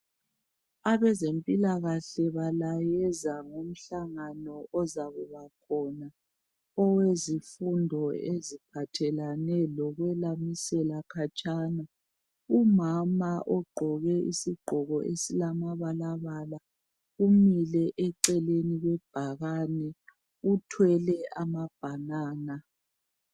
Abezempilakàle balayeza ngezomhlangano ozabakhona owezifundo eziphathelane lokwelamisela khatshana. Umama ogqoke isigqoko esilamabalabala umile eceleni kwebhakane uthwele amabhanana.